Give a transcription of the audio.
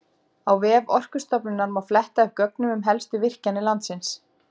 Á vef Orkustofnunar má fletta upp gögnum um helstu virkjanir landsins.